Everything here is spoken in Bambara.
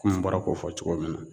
Kun n bɔra k'o fɔ cogo min na